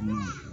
Ni